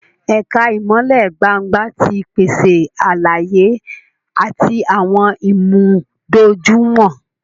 Ẹka ìmọlẹ gbángba ti pese àlàyé ati awọn ìmúdójúìwọ̀n